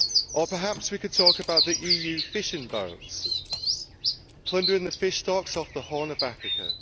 Or perhaps we could talk about the EU fishing boats plundering the fish stocks off the Horn of Africa.